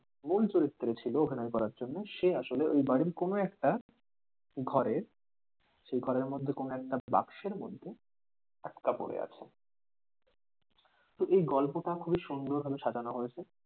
মূল চরিত্রে ছিল অভিনয় করার জন্য সে আসলে ওই বাড়ির কোন একটা ঘরের সেই ঘরের মধ্যে কোনো একটা বাক্সের মধ্যে আটকা পড়ে আছে এই গল্পটা খুবই সুন্দর ভাবে সাজানো হয়েছে।